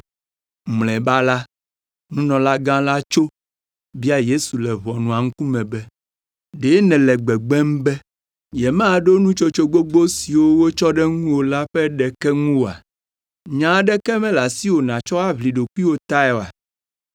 Mlɔeba la, nunɔlagã la tso, bia Yesu le ʋɔnua ŋkume be, “Ɖe nèle gbegbem be yemaɖo nutsotso gbogbo siwo wotsɔ ɖe ŋuwò la ƒe ɖeke ŋu oa? Nya aɖeke mele asiwò nàtsɔ aʋli ɖokuiwò tae oa?”